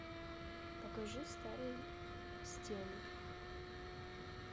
покажи старые стены